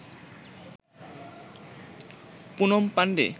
Poonam Pandey